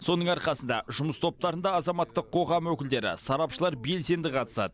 соның арқасында жұмыс топтарында азаматтық қоғам өкілдері сарапшылар белсенді қатысады